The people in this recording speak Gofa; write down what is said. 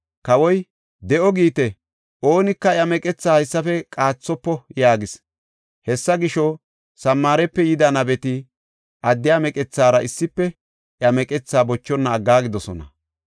Kawoy, “De7o giite; oonika iya meqetha haysafe qaathofo” yaagis. Hessa gisho, Samaarepe yida nabeti addiya meqethaara issife iya meqetha bochonna aggaagidosona.